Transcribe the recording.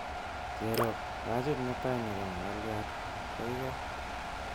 Cherob, pajit netai nebo makaliat kaikai